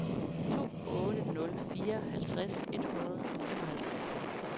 to otte nul fire halvtreds et hundrede og femoghalvtreds